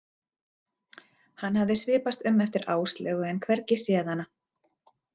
Hann hafði svipast um eftir Áslaugu en hvergi séð hana.